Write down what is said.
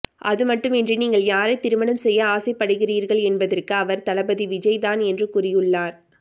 அதுமட்டு மின்றி நீங்கள் யாரை திருமணம் செய்ய ஆசைப் படுகிறீர்கள் என்பதற்கு அவர் தளபதி விஜய் தான் என்று கூறியுள்ளார்